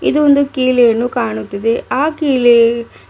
ಇದು ಒಂದು ಕಿಲೆಯನ್ನು ಕಾಣುತಿದೆ ಆ ಕಿಲೆ--